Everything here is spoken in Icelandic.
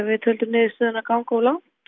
við töldum niðurstöðuna ganga of langt